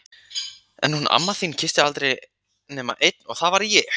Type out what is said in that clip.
En hún amma þín kyssti aldrei nema einn og það var ég!